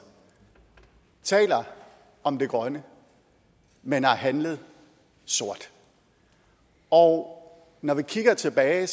taler om det grønne men har handlet sort og når vi kigger tilbage